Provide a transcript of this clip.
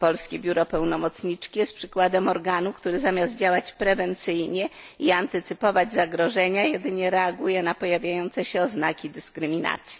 Polskie biuro pełnomocniczki jest przykładem organu, który zamiast działać prewencyjnie i antycypować zagrożenia, jedynie reaguje na pojawiające się oznaki dyskryminacji.